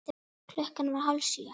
Klukkan var hálf sjö.